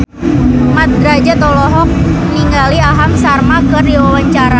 Mat Drajat olohok ningali Aham Sharma keur diwawancara